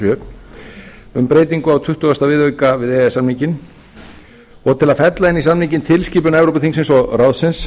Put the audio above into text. sjö um breytingu á tuttugasta viðauka við e e s samninginn og til að fella inn í samninginn tilskipun evrópuþingsins og ráðsins